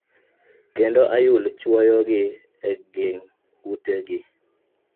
kendo ayul chwowo gi eging ute gi.